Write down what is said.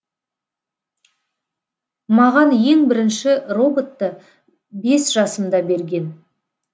маған ең бірінші роботты бес жасымда берген